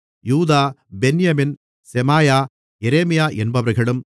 யூதா பென்யமீன் செமாயா எரேமியா என்பவர்களும்